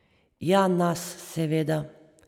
Ja nas, seveda.